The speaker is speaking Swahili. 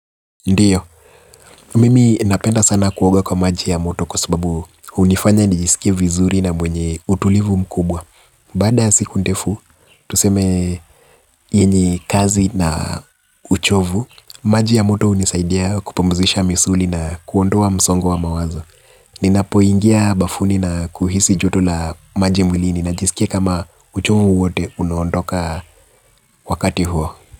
Ndiyo, mimi napenda sana kuoga kwa maji ya moto kwa sababu hunifanya nijisikie vizuri na mwenye utulivu mkubwa. Baada ya siku ndefu, tuseme yenye kazi na uchovu, maji ya moto hunisaidia kupumzisha misuli na kuondoa msongo wamawazo. Ninapoingia bafuni na kuhisi joto la maji mwilini najisikia kama uchovu wote unaonoka wakati huo.